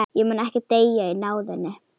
Ég mun ekki deyja í náðinni.